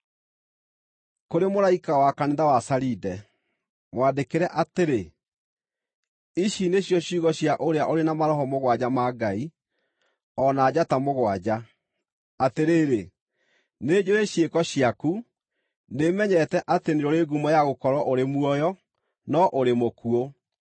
“Kũrĩ mũraika wa kanitha wa Saride, mwandĩkĩre atĩrĩ: Ici nĩcio ciugo cia ũrĩa ũrĩ na maroho mũgwanja ma Ngai, o na njata mũgwanja. Atĩrĩrĩ, nĩnjũũĩ ciĩko ciaku; nĩmenyete atĩ nĩũrĩ ngumo ya gũkorwo ũrĩ muoyo, no ũrĩ mũkuũ.